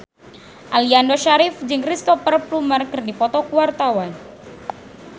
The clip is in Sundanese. Aliando Syarif jeung Cristhoper Plumer keur dipoto ku wartawan